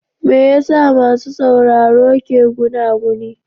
Me yasa masu sauraro ke gunaguni?